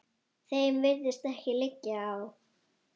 Þeim virðist ekkert liggja á.